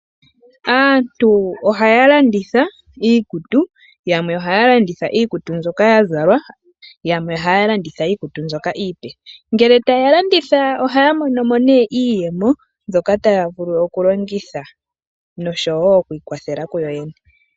Aantu ohaya landitha iikutu yamwe ohaya landitha iikutu ndyoka yazalwa yamwe ohaya landitha iipe. Ngele taya landitha ohaya monomo nee iiyemo mbyoka taya vulu okulongitha nokwiikwathela kuyoyene.